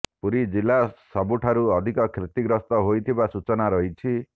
ପୁରୀ ଜିଲ୍ଲା ସବୁଠାରୁ ଅଧିକ କ୍ଷତିଗ୍ରସ୍ତ ହୋଇଥିବା ସୂଚନା ରହିଛି